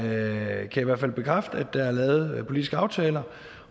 jeg kan i hvert fald bekræfte at der er lavet politiske aftaler